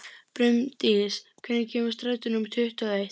Brimdís, hvenær kemur strætó númer tuttugu og eitt?